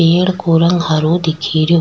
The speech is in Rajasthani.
पेड़ को रंग हरो दिखे रो।